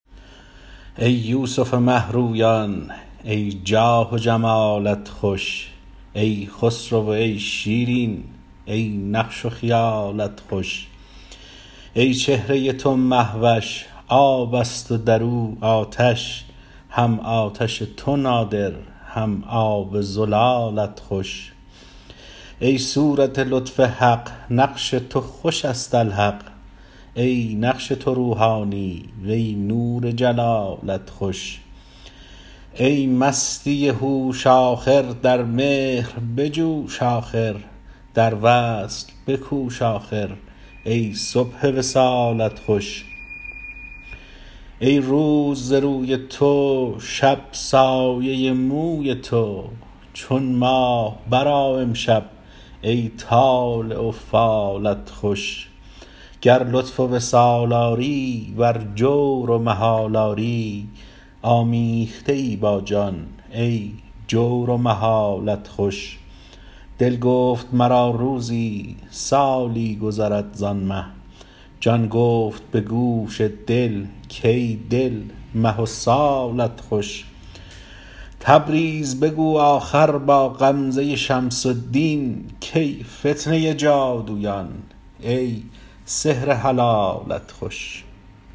ای یوسف مه رویان ای جاه و جمالت خوش ای خسرو و ای شیرین ای نقش و خیالت خوش ای چهره تو مه وش آب است و در او آتش هم آتش تو نادر هم آب زلالت خوش ای صورت لطف حق نقش تو خوش است الحق ای نقش تو روحانی وی نور جلالت خوش ای مستی هوش آخر در مهر بجوش آخر در وصل بکوش آخر ای صبح وصالت خوش ای روز ز روی تو شب سایه موی تو چون ماه برآ امشب ای طالع و فالت خوش گر لطف و وصال آری ور جور و محال آری آمیخته ای با جان ای جور و محالت خوش دل گفت مرا روزی سالی گذرد زان مه جان گفت به گوش دل کای دل مه و سالت خوش تبریز بگو آخر با غمزه شمس الدین کای فتنه جادویان ای سحر حلالت خوش